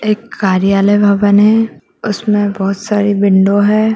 एक कार्यालय भवन है उसमें बहुत सारी विंडो हैं।